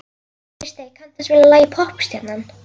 Kristey, kanntu að spila lagið „Poppstjarnan“?